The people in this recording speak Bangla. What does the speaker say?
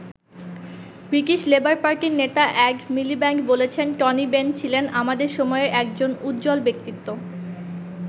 ব্রিটিশ লেবার পার্টির নেতা এড মিলিব্যান্ড বলেছেন টনি বেন ছিলেন "আমাদের সময়ের একজন উজ্জ্বল ব্যক্তিত্ব"।